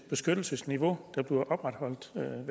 beskyttelsesniveau